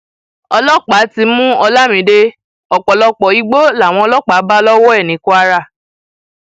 ọlọpàá ti mú olamide ọpọlọpọ igbó làwọn ọlọpàá bá lọwọ ẹ ní kwara